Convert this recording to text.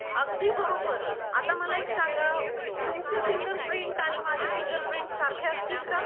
अगदी बारोबर आता मला एक सांगा तुमच्या फिंगर प्रिंट आणि माझ्या फिंगर प्रिंट सारख्या असतील का?